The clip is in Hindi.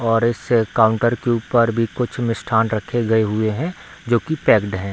और इस काउंटर के ऊपर भी कुछ मिष्ठान रखे गए हुए है जो कि पैक्ड है।